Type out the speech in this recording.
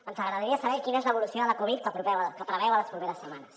ens agradaria saber quina és l’evolució de la covid que preveu a les properes setmanes